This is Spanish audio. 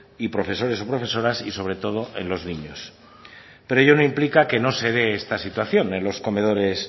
y profesores o profesoras y sobre todo en los niños pero ello no implica que no se dé esta situación en los comedores